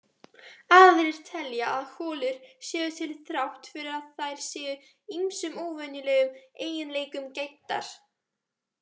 Aðrir telja að holur séu til þrátt fyrir að þær séu ýmsum óvenjulegum eiginleikum gæddar.